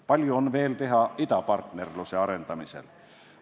Palju on veel teha idapartnerluse arendamisel.